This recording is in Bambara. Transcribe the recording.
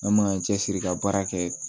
An m'an cɛsiri ka baara kɛ